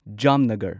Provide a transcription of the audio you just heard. Jamnagar